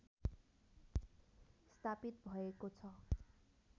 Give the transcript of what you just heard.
स्थापित भएको छ